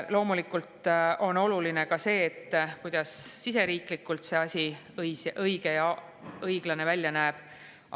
Loomulikult on oluline ka see, kuidas siseriiklikult see asi õige ja õiglane välja näeb.